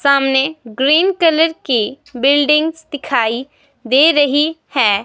सामने green colour की buildings दिखाई दे रही है.